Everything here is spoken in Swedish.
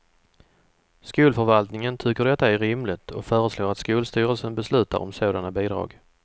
Skolförvaltningen tycker detta är rimligt och föreslår att skolstyrelsen beslutar om sådana bidrag.